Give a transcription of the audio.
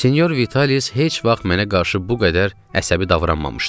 Sinyor Vitalis heç vaxt mənə qarşı bu qədər əsəbi davranmamışdı.